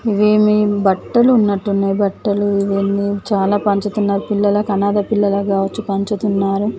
ఈవ్వేమీ బట్టలు ఉన్నట్టున్నాయి బట్టలు ఇవన్నీ చాలా పంచుతున్నారు పిల్లలకి అనాధ పిల్లల కావచ్చు పంచుతున్నారు.